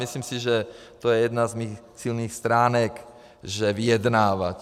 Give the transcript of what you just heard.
Myslím si, že to je jedna z mých silných stránek, že vyjednávám.